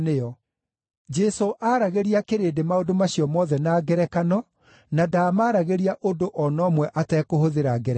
Jesũ aaragĩria kĩrĩndĩ maũndũ macio mothe na ngerekano na ndaamaragĩria ũndũ o na ũmwe atekũhũthĩra ngerekano.